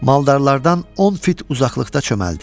Maldarlardan 10 fit uzaqlıqda çöməldi.